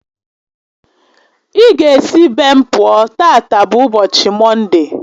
Ị ga esi be m pụọ, tata bụ ụbọchị Mọnde!